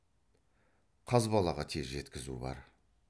қазбалаға тез жеткізу бар